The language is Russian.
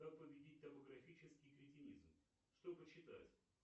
как победить топографический кретинизм что почитать